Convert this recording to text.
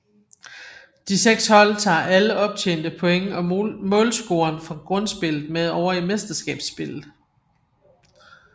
De seks hold tager alle optjente point og målscoren fra Grundspillet med over i Mesterskabsspillet